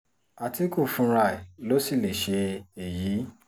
àtìkù fúnra ẹ̀ ló sì lè ṣe èyí